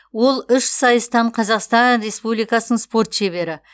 ол үш сайыстан қазақстан республикасының спорт шебері